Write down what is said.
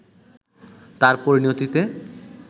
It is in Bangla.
তার পরিণতিতে